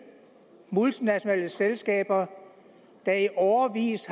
multinationale selskaber der i årevis